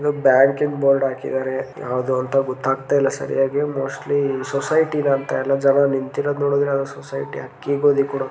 ಇಲ್ಲೊಂದ್ ಬ್ಯಾಂಕಿಂದ್ ಬೋರ್ಡ್ ಹಾಕಿದಾರೆ ಯಾವದೋ ಅಂತ ಗೊತ್ತಾಗ್ತಿಲ್ಲ ಸರಿಯಾಗಿ. ಮೋಸ್ಟ್ಲಿ ಸೊಸೈಟಿ ನ ಅಂತ ಎಲ್ಲ ಜನ ನಿಂತಿರೋದ್ ನೋಡಿದ್ರೆ ಯಾವದೋ ಸೊಸೈಟಿ ಅಕ್ಕಿ ಗೋಧಿ ಕೊಡೋ --